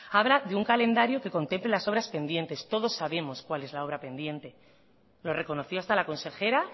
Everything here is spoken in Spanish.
habla de un calendario que contemple las obras pendientes todos sabemos cuál es la obra pendiente lo reconoció hasta la consejera